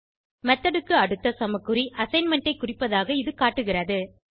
method க்கு அடுத்த சமக்குறி அசைன்மென்ட் ஐ குறிப்பதாக இது காட்டுகிறது